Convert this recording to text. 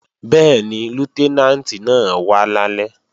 Bẹ́ẹ̀ni, Lútẹ́nàǹtì náà wá lálẹ́